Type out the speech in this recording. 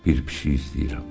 Bir pişik istəyirəm.